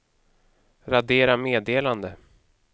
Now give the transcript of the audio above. radera meddelande